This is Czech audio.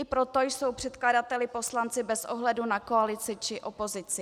I proto jsou předkladateli poslanci bez ohledu na koalici či opozici.